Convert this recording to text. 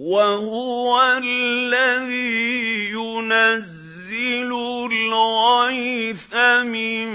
وَهُوَ الَّذِي يُنَزِّلُ الْغَيْثَ مِن